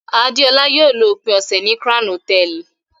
Adeola yóò lo ópin ọsẹ ni Crown Hotẹẹli